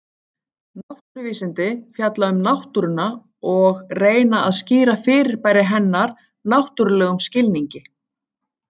Náttúruvísindi fjalla um náttúruna og reyna að skýra fyrirbæri hennar náttúrlegum skilningi.